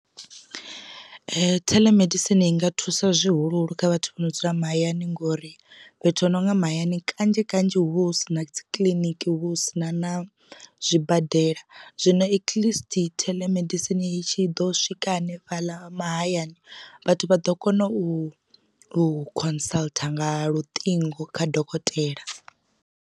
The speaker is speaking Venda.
Theḽemedisini i nga thusa zwihuluhulu kha vhathu vho no dzula mahayani ngori fhethu hononga mahayani kanzhi kanzhi hu vha hu si na dzi kiḽiniki hu vha hu si na na zwibadela zwino at least telemedicine itshi ḓo swika hanefhaḽa mahayani vhathu vha ḓo kona u consult nga luṱingo kha dokotela.